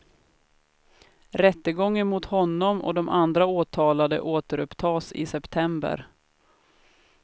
Rättegången mot honom och de andra åtalade återupptas i september.